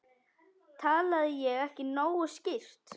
Talaði ég ekki nógu skýrt?